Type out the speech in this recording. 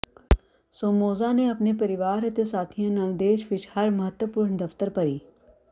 Somoza ਨੇ ਆਪਣੇ ਪਰਿਵਾਰ ਅਤੇ ਸਾਥੀਆਂ ਨਾਲ ਦੇਸ਼ ਵਿਚ ਹਰ ਮਹੱਤਵਪੂਰਨ ਦਫ਼ਤਰ ਭਰੀ